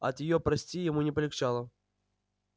от её прости ему не полегчало